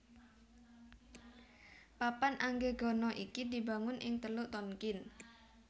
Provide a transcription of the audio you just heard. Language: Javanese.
Papan Anggegana iki dibangun ing Teluk Tonkin